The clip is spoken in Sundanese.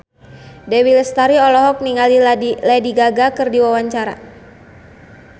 Dewi Lestari olohok ningali Lady Gaga keur diwawancara